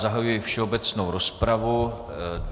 Zahajuji všeobecnou rozpravu.